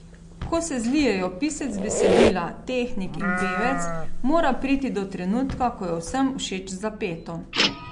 Ko se zlijejo pisec besedila, tehnik in pevec, mora priti do trenutka, ko je vsem všeč zapeto.